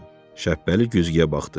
Şəppəli güzgüyə baxdı.